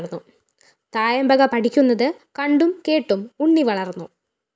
തായമ്പക പഠിക്കുന്നത് കണ്ടും കേട്ടും ഉണ്ണി വളര്‍ന്നു